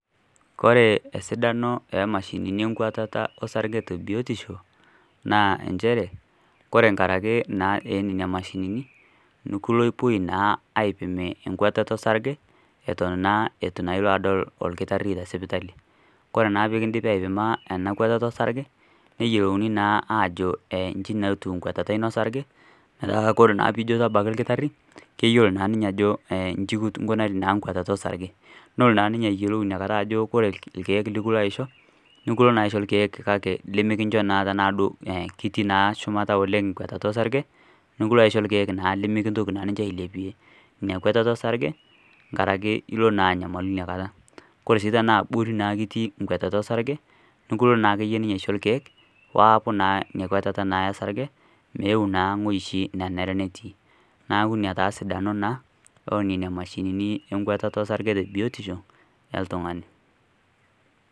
Ore esidano emashinini enkuatata olsarge tebiotisho naa injere ore inkaraki nena mashinini nekipoi naa aipim enkuatata olsarge eton naa eitu ilo adol olkitari tesipitali. Ore pee kindipi aipima ena kuatata olsarge, neyiolouni naa aajo ee inji naa etiu enkuatata ino olsarge metaa ore ijo tabaiki olkitari, keyiolo naa ninye ajo inji kingunaria nkutata olsarge. Nelo naa ninye ayiolou ajo ore ilkeek likilo aisho nikilo naa aisho ilkeek kake nimikinjo naa ketii naa shumata oleng' nkutata olsarge, likilo aisho ilkeek naa limikintoki naa ailepie nkutata olsarge nkaraki ilo naa nyamalu nakata. Ore sii tanaa abori etii nkutata olsarge nikilo naa ninye aisho ilkeek peeku naa inakuatata olsarge meeu naaoi oshi nenare netii, neeku ina naa sidano naa onena mashinini nkuatata olsarge tebiotisho oltungani.